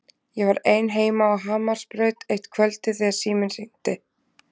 Ég var ein heima á Hamarsbraut eitt kvöldið þegar síminn hringdi.